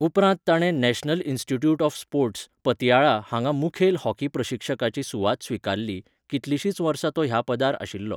उपरांत ताणें national institute of sports, Patiala हांगा मुखेल हॉकी प्रशिक्षकाची सुवात स्विकारली, कितलिंशींच वर्सां तो ह्या पदार आशिल्लो.